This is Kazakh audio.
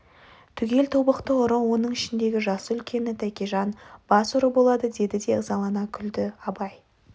түгел тобықты ұры оның ішіндегі жасы үлкені тәкежан бас ұры болады деді де ызалана күлді абай